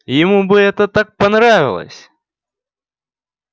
ему бы это так понравилось